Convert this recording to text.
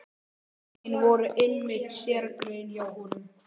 Stökkin voru einmitt sérgrein hjá honum.